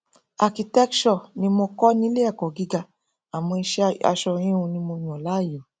architecture ni mo kọ nílé ẹkọ gíga àmọ iṣẹ aṣọ híhun ni mo yàn láàyò